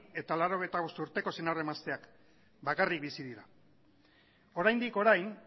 eta laurogeita bost urteko senar emazteak bakarrik bizi dira oraindik orain